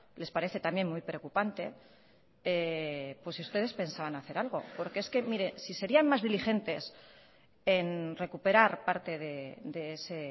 les parece también muy preocupante pues si ustedes pensaban hacer algo porque es que mire si serían más diligentes en recuperar parte de ese